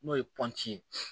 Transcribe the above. N'o ye ye